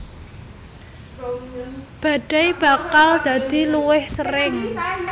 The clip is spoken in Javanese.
Badai bakal dadi luwih sering